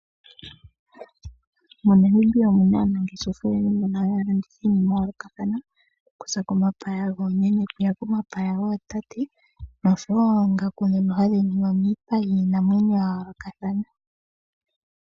Monamibia omuna aanangeshefa oyendji mbono haya landitha iinima yayoolokathana okuza komapaya goomeme okuya komapaya gootate noshowo oongaku dhaningwa miipa yiinamwenyo yayoolokatha.